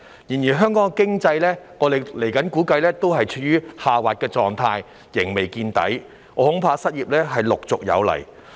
然而，我們估計香港經濟仍處於下滑狀態，仍未見底，我恐怕失業陸續有來。